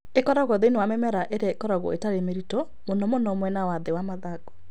Ĩkoragwo thĩinĩ wa mĩmera ĩrĩa ĩkoragwo ĩtarĩ mĩritũ, mũno mũno mwena wa thĩ wa mathangũ.